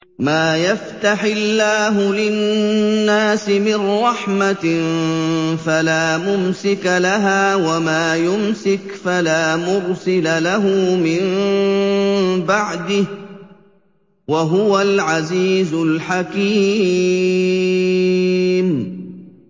مَّا يَفْتَحِ اللَّهُ لِلنَّاسِ مِن رَّحْمَةٍ فَلَا مُمْسِكَ لَهَا ۖ وَمَا يُمْسِكْ فَلَا مُرْسِلَ لَهُ مِن بَعْدِهِ ۚ وَهُوَ الْعَزِيزُ الْحَكِيمُ